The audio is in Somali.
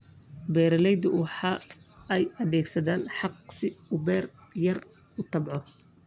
Beeralaydu waxa ay adeegsadaan xaaq si uu beer yar u tacbado.